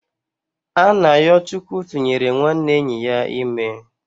Anayochukwu tụnyere nwanne enyi ya ime